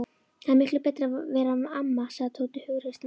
Það er miklu betra að vera amma, sagði Tóti hughreystandi.